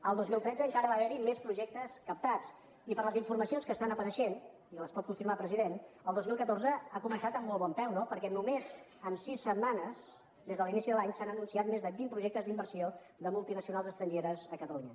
el dos mil tretze encara va haver hi més projectes captats i per les informacions que estan apareixent i les pot confirmar president el dos mil catorze ha començat amb molt bon peu no perquè només en sis setmanes des de l’inici de l’any s’han anunciat més de vint projectes d’inversió de multinacionals estrangeres a catalunya